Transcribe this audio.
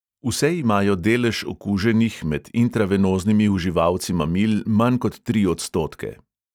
Vse imajo delež okuženih med intravenoznimi uživalci mamil manj kot tri odstotke.